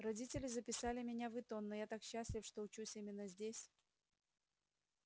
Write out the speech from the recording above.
родители записали меня в итон но я так счастлив что учусь именно здесь